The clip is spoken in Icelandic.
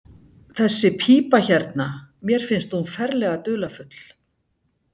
Þessi pípa hérna. mér finnst hún ferlega dularfull.